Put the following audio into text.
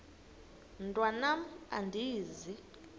mntwan am andizi